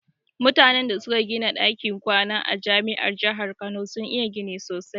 Mutanan da suka gida ɗakin kwana a jami'ar jahar kano sun iya gini sosai